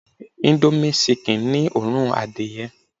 índómì ṣikìn ni òórùn adìyẹ